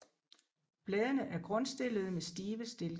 Bladene er grundstillede med stive stilke